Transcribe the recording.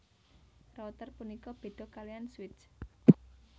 Router punika béda kaliyan switch